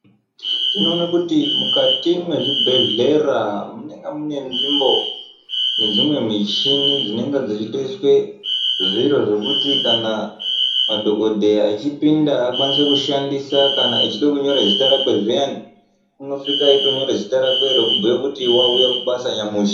Tino ona kuti mukati mwe zvibhedhlera munenga mune nzvimbo ne dzimwe michini dzinenga dzei toiswe zviro zvekuti kana madhokodheya echi pinda akwanise kushandisa kana echide kunyora zita rake zviyani unosvika eyito nyora zita rakwe reku bhuye kuti wauya kubasa nyamushi.